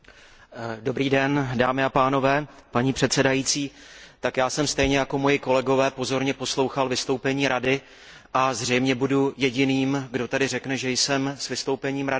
Paní předsedající, já jsem stejně jako moji kolegové pozorně poslouchal vystoupení Rady a zřejmě budu jediným, kdo tady řekne, že je s vystoupením Rady a s jejím sdělením spokojený.